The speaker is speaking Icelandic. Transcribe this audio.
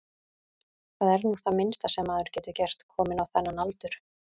Það er nú það minnsta sem maður getur gert, kominn á þennan aldur.